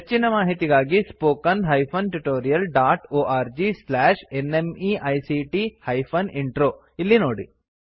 ಹೆಚ್ಚಿನ ಮಾಹಿತಿಗಾಗಿ spoken hyphen tutorial dot org slash NMEICT hyphen intro ಇಲ್ಲಿ ನೋಡಿ